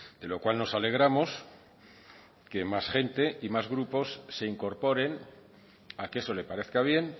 de lo cual nos alegramos que más gente y más grupos se incorporen a que eso le parezca bien